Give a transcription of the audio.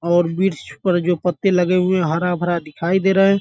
और वृक्ष पर जो पत्ते लगे हुए हैं हरा-भरा दिखाई दे रहा है।